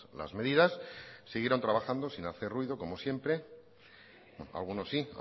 las medidas siguieron trabajando sin hacer ruido como siempre algunos sí